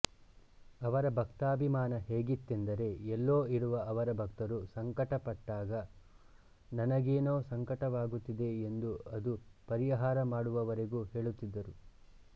ಅವರ ಭಕ್ತಾಭಿಮಾನ ಹೇಗಿತ್ತೆಂದರೆ ಎಲ್ಲೋ ಇರುವ ಅವರ ಭಕ್ತರು ಸಂಕಟಪಟ್ಟಾಗ ನನಗೇನೋ ಸಂಕಟವಾಗುತ್ತಿದೆ ಎಂದು ಅದು ಪರಿಹಾರ ಮಾಡುವವರೆಗೂ ಹೇಳುತ್ತಿದ್ದರು